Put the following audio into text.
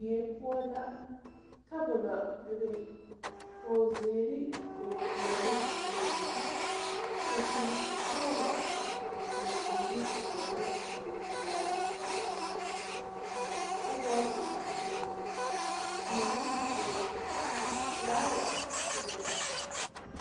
Die poɔ la tabolɔ bebe kogzeere kogpwɛɛle bebe kpuresɔglɔ kapurezeere dɔɔlɛɛ kogpilaa zu kabɔɔte bebe teere bebe flaawa bebe.